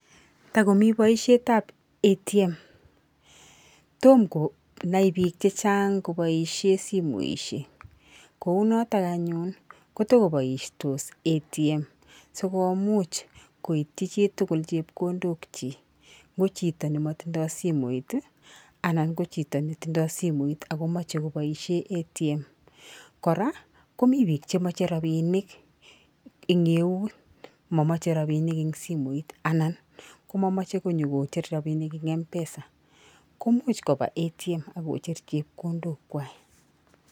Tokomii boishet tab ATM, tom konai bik che chang kobooishen simoishek kounoton anyun kotokoboistos ATM sikomuch koityi chitukul chepkondok kyik ko chito nemotindoi simoit anan ko chito netindoi simoit ako moche koboishen ATM, koraa ko mii bik che moche rabishek en eut momoche rabinik en simoit anan ko momoche konyokocher robinik en MPESA komuch koba ATM ak kocher chekondok kwai.